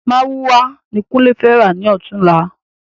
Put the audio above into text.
Márúwá ni kunle fẹ rà ni ọ̀túnla